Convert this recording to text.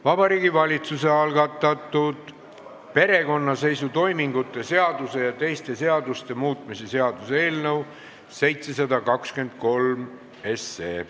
Vabariigi Valitsuse algatatud perekonnaseisutoimingute seaduse ja teiste seaduste muutmise seaduse eelnõu 723.